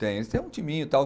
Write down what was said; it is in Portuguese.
Tem, eles têm um timinho e tal.